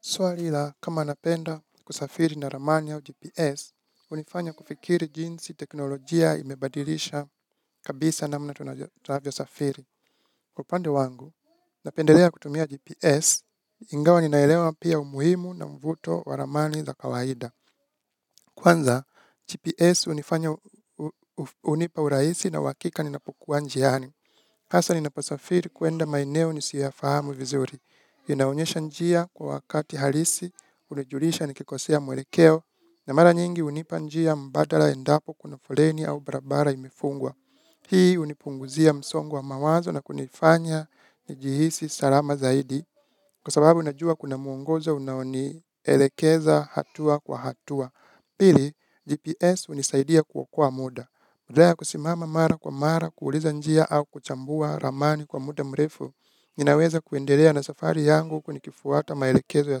Swali la, kama napenda kusafiri na ramani au GPS, hunifanya kufikiri jinsi teknolojia imebadilisha kabisa namna tunavyosafiri. Kwa upande wangu, napendelea kutumia GPS, ingawa ninaelewa pia umuhimu na mvuto wa ramani za kawaida. Kwanza, GPS hunifanya hunipa uraisi na uhakika ninapokua njiani. Hasa ninaposafiri kuenda maeneo nisiyoyafahamu vizuri. Inaonyesha njia kwa wakati halisi, hunijulisha nikikosea mwelekeo, na mara nyingi hunipa njia mbadala endapo kuna foleni au barabara imefungwa. Hii hunipunguzia msongo wa mawazo na kunifanya nijihisi salama zaidi, kwa sababu unajua kuna muongoza unaonielekeza hatua kwa hatua. Pili, GPS hunisaidia kuokoa moda. Badala ya kusimama mara kwa mara kuuliza njia au kuchambua ramani kwa muda mrefu, ninaweza kuendelea na safari yangu huku nikifuata maelekezo ya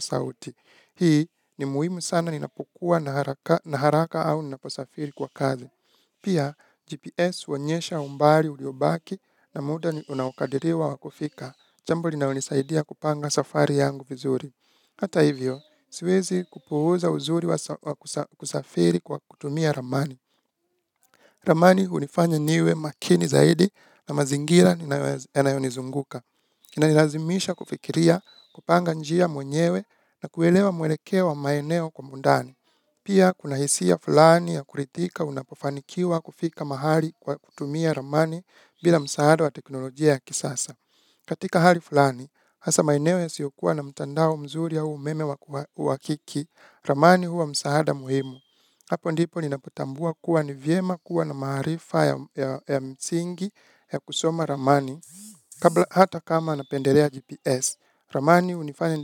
sauti. Hii ni muhimu sana ninapokua na haraka au ninaposafiri kwa kazi. Pia GPS huonyesha umbali uliobaki na muda unaokadiriwa kufika. Jambo linalonisaidia kupanga safari yangu vizuri. Hata hivyo, siwezi kupuuza uzuri wa kusafiri kwa kutumia ramani. Ramani hunifanya niwe makini zaidi na mazingira yanayonizunguka. Inanilazimisha kufikiria kupanga njia mwenyewe na kuelewa mwelekeo wa maeneo kwa undani. Pia kuna hisia fulani ya kurithika unapofanikiwa kufika mahali kwa kutumia ramani bila msaada wa teknolojia ya kisasa. Katika hali fulani, hasa maeneo yasiyokuwa na mtandao mzuri au umeme wakiki, ramani huwa msaada muhimu. Hapo ndipo ninapotambua kuwa ni vyema kuwa na maarifa ya msingi ya kusoma ramani. Hata kama napendelea GPS, ramani hunifanya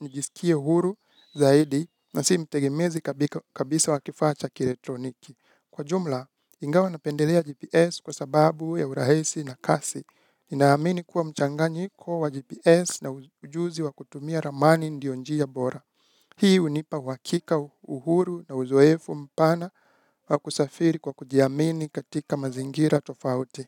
nijiskie huru zaidi na si mtegemezi kabisa wa kifaa cha kielektroniki. Kwa jumla, ingawa napendelea GPS kwa sababu ya urahisi na kasi. Ninaamini kuwa mchanganyiko wa GPS na ujuzi wa kutumia ramani ndiyo njia bora. Hii hunipa uhakika uhuru na uzoefu mpana wa kusafiri kwa kujiamini katika mazingira tofauti.